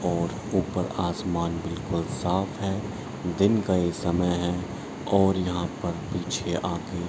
और ऊपर आसमान बिकुल साफ़ है दिन का ये समय है और यहां पर पीछे आके --